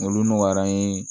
Olu nɔgɔyara an ye